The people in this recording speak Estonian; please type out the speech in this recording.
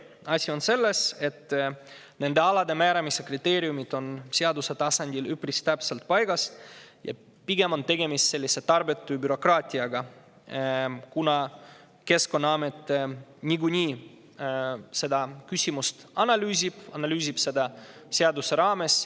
Asi on selles, et nende alade määramise kriteeriumid on seaduse tasandil üpris täpselt paigas ja tegemist on pigem tarbetu bürokraatiaga, kuna Keskkonnaamet niikuinii selle seaduse raames seda küsimust analüüsib.